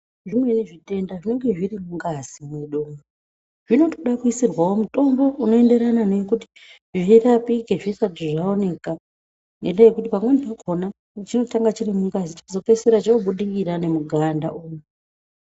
Zvimweni zvitenda zvinonge zviri mungazi mwedu. Zvinotode kuisirwawo mutombo unoenderana nekuti zvirapike zvisati zvaoneka ,ngendaa yekuti pamweni pakhona, chinotanga chiri mungazi, chozopeisira chobudikira nemuganda umu.